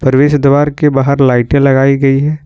प्रवेश द्वार के बाहर लाइटें लगाई गई है।